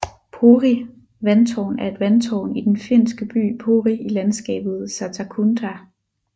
Pori Vandtårn er et vandtårn i den finske by Pori i landskabet Satakunda